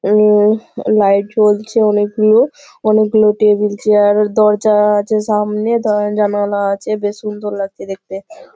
উম light জ্বলছে অনেকগুলো। অনেকগুলো টেবিল চেয়ার ও দরজাও আছে সামনে। জ্বালানো আছে সামনে বেশ সুন্দর লাগছে দেখতে।